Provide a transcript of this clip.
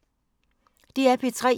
DR P3